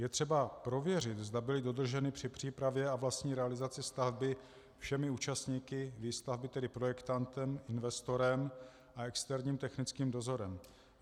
Je třeba prověřit, zda byly dodrženy při přípravě a vlastní realizaci stavby všemi účastníky výstavby, tedy projektantem, investorem a externím technickým dozorem.